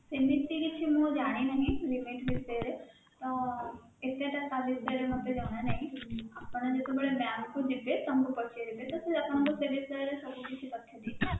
ସେମିତି କିଛି ମୁଁ ଜାଣିନାହିଁ limit ବିଷୟରେ ତ କେତେଟା ତା ବିଷୟରେ ମୋତେ ଜଣାନାହିଁ ଆପଣ ଯେତେବେଳେ bank କୁ ଯିବେ ତାଙ୍କୁ ପଚାରିବେ ତ ସେ ଆପଣଙ୍କୁ ସେ ବିଷୟରେ ସବୁକିଛି ତଥ୍ୟ ଦେଇଦେବେ